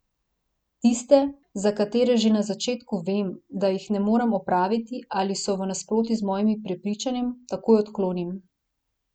Tiste, za katere že na začetku vem, da jih ne morem opraviti ali so v nasprotju z mojim prepričanjem, takoj odklonim.